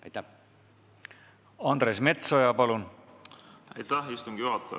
Aitäh, istungi juhataja!